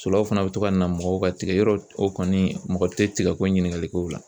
Sulaw fana be to ka na mɔgɔw ka tigɛ, yɔrɔ o kɔni , mɔgɔ tɛ tigɛ ko ɲininkali kɛ o la.